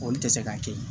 Olu tɛ se k'a kɛ